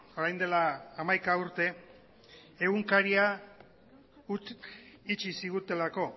orain dela hamaika urte egunkaria itxi zigutelako